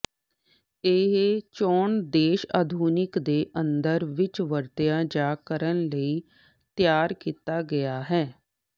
ਇਹ ਚੋਣ ਦੇਸ਼ ਆਧੁਨਿਕ ਦੇ ਅੰਦਰ ਵਿੱਚ ਵਰਤਿਆ ਜਾ ਕਰਨ ਲਈ ਤਿਆਰ ਕੀਤਾ ਗਿਆ ਹੈ